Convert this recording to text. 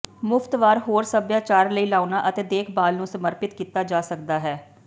ਮੁਫ਼ਤ ਵਾਰ ਹੋਰ ਸਭਿਆਚਾਰ ਲਈ ਲਾਉਣਾ ਅਤੇ ਦੇਖਭਾਲ ਨੂੰ ਸਮਰਪਿਤ ਕੀਤਾ ਜਾ ਸਕਦਾ ਹੈ